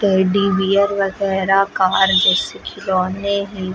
Teddy bear वगैरा car जैसे खिलौने है।